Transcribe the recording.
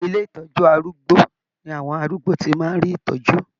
Ilé ìtọjú arúgbó ni àwọn arúgbó tí màá n rí ìtọjú.